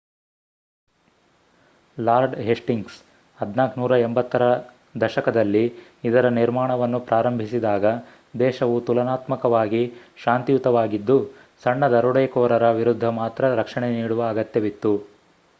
lord Hastings 1480 ರ ದಶಕದಲ್ಲಿ ಇದರ ನಿರ್ಮಾಣವನ್ನು ಪ್ರಾರಂಭಿಸಿದಾಗ ದೇಶವು ತುಲನಾತ್ಮಕವಾಗಿ ಶಾಂತಿಯುತವಾಗಿದ್ದು ಸಣ್ಣ ದರೋಡೆಕೋರರ ವಿರುದ್ಧ ಮಾತ್ರ ರಕ್ಷಣೆ ನೀಡುವ ಅಗತ್ಯವಿತ್ತು